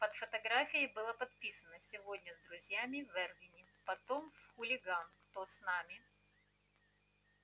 под фотографией было подписано сегодня с друзьями в эрвине потом в хулиган кто с нами